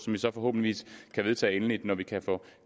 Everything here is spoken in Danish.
vi så forhåbentlig kan vedtage endeligt når vi kan få